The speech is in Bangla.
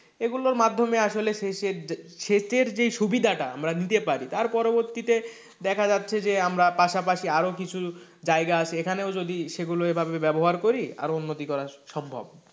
এগুলোর মাধ্যমে আসলে সেচে সেচের যে সুবিধাটা আমরা নিতে পারি তার পরবর্তীতে দেখা যাচ্ছে যে আমরা পাশাপাশি আরো কিছু জায়গা আছে এখানেও যদি সেগুলো এভাবে ব্যবহার করি উন্নতি করি আরো উন্নতি করা সম্ভব,